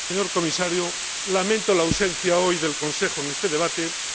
Señor Comisario, lamento la ausencia del Consejo en este debate de hoy.